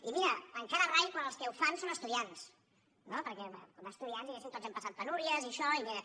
i mira encara rai quan els que ho fan són estudiants no perquè com a estudiants diguéssim tots hem passat penúries i això i mira